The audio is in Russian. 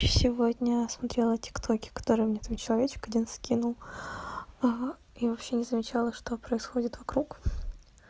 сегодня смотрела тик токи которые мне там человечек один скинул и вообще не замечала что происходит вокруг